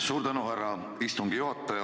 Suur tänu, härra istungi juhataja!